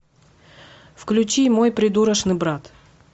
включи мой придурочный брат